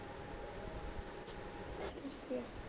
ਅਮ